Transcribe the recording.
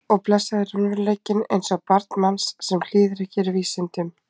Og blessaður raunveruleikinn eins og barn manns sem hlýðir ekki vísindum.